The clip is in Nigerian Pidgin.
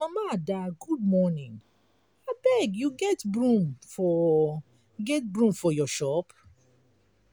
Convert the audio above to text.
mama ada good morning abeg you get broom for get broom for your shop.